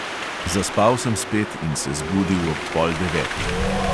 Zaspal sem spet in se zbudil ob pol devetih.